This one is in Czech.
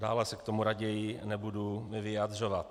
Dále se k tomu raději nebudu vyjadřovat.